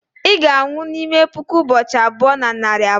ị ga-anwụ n'ime puku ụbọchị abụọ na narị abụọ